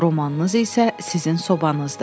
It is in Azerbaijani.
Romanınız isə sizin sobanızdır.